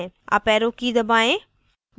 up arrow key दबाएं